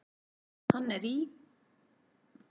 Hann er í